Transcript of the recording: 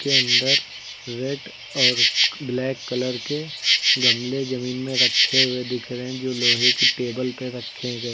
अंदर रेड और black colour के गमले जमीन में रखे हुए दिख रहे हैं जो लोहे की टेबल पे रखे गए--